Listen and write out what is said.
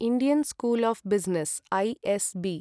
Indian school of business ISB